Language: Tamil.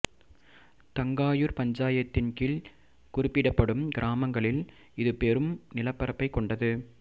தங்காயூர் பஞ்சாயத்தின் கீழ் குறிப்பிடப்படும் கிராமங்களில் இது பெரும் நிலப்பரப்பை கொண்டது